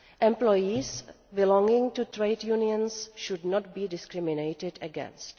Employees belonging to trade unions should not be discriminated against.